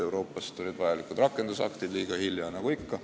Euroopast tulid vajalikud rakendusaktid liiga hilja, nagu ikka.